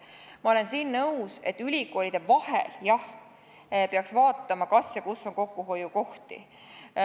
Ma olen nõus, et ülikoolide vahel peaks vaatama, kas ja kus on kokkuhoiukohti.